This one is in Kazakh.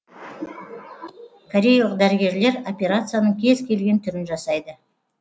кореялық дәрігерлер операцияның кез келген түрін жасайды